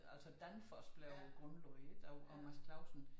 Altså Danfoss blev grundlagt ik af af Mads Clausen